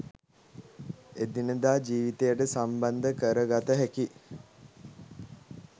එදිනෙදා ජීවිතයට සම්බන්ධ කරගත හැකි